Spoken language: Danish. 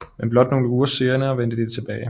Men blot nogle uger senere vendte de tilbage